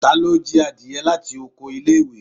talo jí adie lati ọkọ ile-iwe?